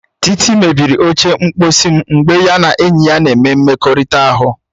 Titi mebiri oche mkposi m mgbe ya na enyi ya na-eme mmekọrịta ahụ.